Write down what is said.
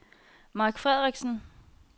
Mark Frederiksen